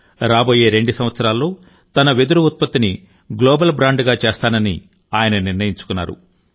రాబోయే 2 సంవత్సరాల్లో తన వెదురు ఉత్పత్తిని గ్లోబల్ బ్రాండ్గా చేస్తానని ఆయన నిర్ణయించుకున్నారు